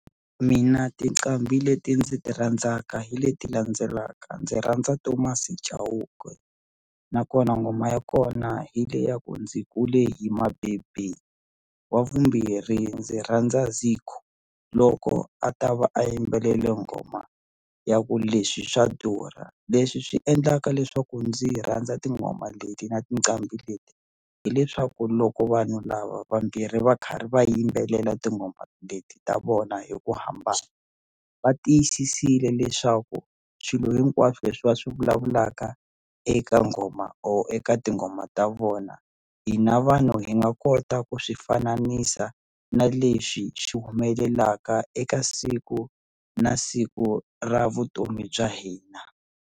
Mina tinqambi leti ndzi ti rhandzaka hi leti landzelaka ndzi rhandza Thomas Chauke nakona ngoma ya kona hi le ya ku ndzi kule hi mabebe wa vumbirhi ndzi rhandza Zico loko a ta va a yimbelele nghoma ya ku leswi swa durha leswi swi endlaka leswaku ndzi rhandza tinghoma leti na tinqambi leti hileswaku loko vanhu lava vambirhi va karhi va yimbelela tinghoma leti ta vona hi ku hambana va tiyisisile leswaku swilo hinkwaswo leswi va swi vulavulaka eka nghoma or eka tinghoma ta vona hina vanhu hi nga kota ku swi fanisa na leswi swi humelelaka eka siku na siku ra vutomi bya hina.